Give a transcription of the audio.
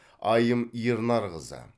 айым ернарқызы